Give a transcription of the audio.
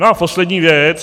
No a poslední věc.